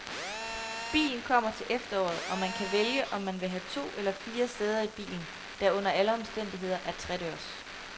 Bilen kommer til efteråret, og man kan vælge, om man vil have to eller fire sæder i bilen, der under alle omstændigheder er tredørs.